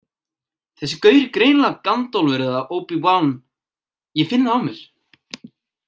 Þessi gaur er greinilega Gandalfur eða Obi Van, ég finn það á mér.